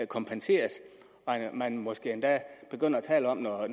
kompenseres og man måske endda begynder at tale om at